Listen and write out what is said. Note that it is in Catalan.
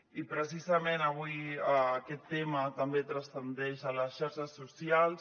i precisament avui aquest tema també transcendeix a les xarxes socials